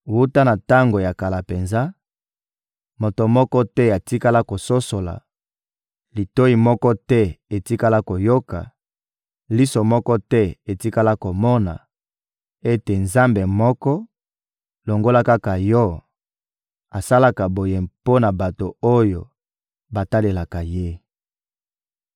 Wuta na tango ya kala penza, moto moko te atikala kososola, litoyi moko te etikala koyoka, liso moko te etikala komona, ete nzambe moko, longola kaka Yo, asalaka boye mpo na bato oyo batalelaka ye.